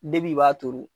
Depi i b'a turu